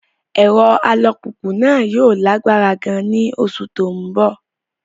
Ẹ̀rọ alùpùpù náà yóò lágbára gan-an ní oṣù tó ń bọ̀.